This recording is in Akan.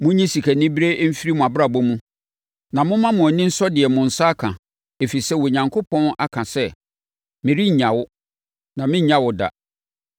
Monyi sikanibereɛ mfiri mo abrabɔ mu, na momma mo ani nsɔ deɛ mo nsa ka. Ɛfiri sɛ Onyankopɔn aka sɛ, “Merennya wo, na merennya wo da.”